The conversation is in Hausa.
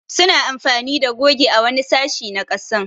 Su na amfani da goge a wani sashi na kasan.